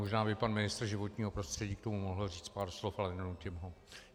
Možná by pan ministr životního prostředí k tomu mohl říct pár slov, ale nenutím ho.